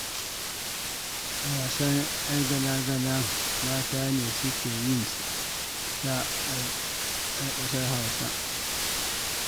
Wasan 'Yar gala-gala mata ne suke yin sa a ƙasar Hausa.